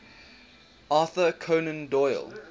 arthur conan doyle